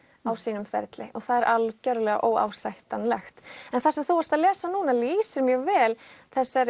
á sínum ferli og það er algjörlega óásættanlegt en það sem þú varst að lesa núna lýsir mjög vel þessari